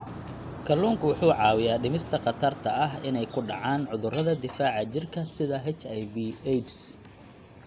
Kalluunku wuxuu caawiyaa dhimista khatarta ah inay ku dhacaan cudurrada difaaca jirka sida HIV/AIDS.